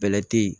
Bɛlɛ te yen